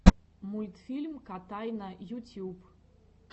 мультфильм котайна ютюб